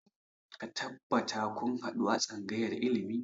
Ka tabbata kun haɗu a tsangayar ilimi!